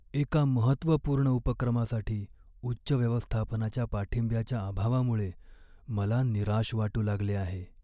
एका महत्त्वपूर्ण उपक्रमासाठी उच्च व्यवस्थापनाच्या पाठिंब्याच्या अभावामुळे मला निराश वाटू लागले आहे.